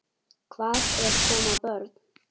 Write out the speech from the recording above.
Hvað ef koma börn?